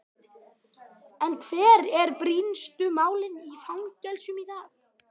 En hver eru brýnustu málin í fangelsum í dag?